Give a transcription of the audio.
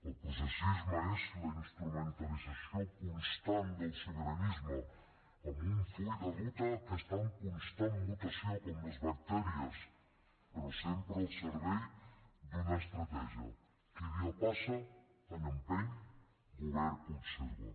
el processisme és la instrumentalització constant del sobiranisme amb un full de ruta que està en constant mutació com els bacteris però sempre al servei d’una estratègia qui dia passa any empeny govern conserva